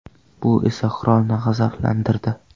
Bu esa qirolni g‘azablantirdi.